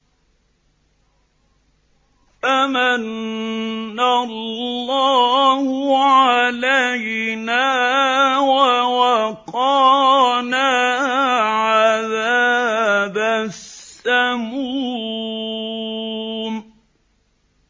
فَمَنَّ اللَّهُ عَلَيْنَا وَوَقَانَا عَذَابَ السَّمُومِ